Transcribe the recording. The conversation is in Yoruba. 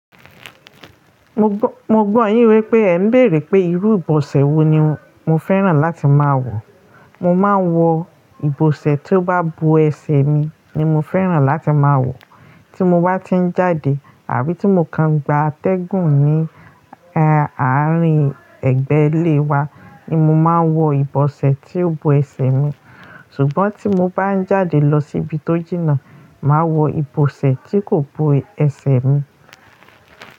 Mo gbọ́, mo gbọ́ yín wípé ẹ̀ ń bèèrè pé irú ìbọ̀sẹ̀ wo ni mo fẹ́ràn láti máa wọ̀. Mo máa ń wọ ìbọ̀sẹ̀ tí ó bá bo ẹsẹ̀ mi ni mo fẹ́ràn láti máa wọ̀. Tí mo bá ti ń jáde àbí tí mo kan gba atẹ́gùn ní, ehn, àárín ẹgbẹ́ ilé wa ni mo máa ń wọ ìbọ̀sẹ̀ tí ó bo ẹsẹ̀ mi. Ṣùgbọ́n tí mo bá ń jáde lọ síbi tó jìnnà, màá wọ ìbọ̀sẹ̀ tí kò bo ẹsẹ̀ mi.